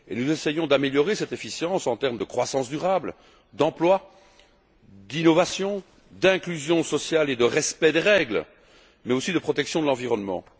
Nous essayons d'améliorer cette efficience en termes de croissance durable, d'emploi, d'innovation, d'inclusion sociale et de respect des règles mais aussi de protection de l'environnement.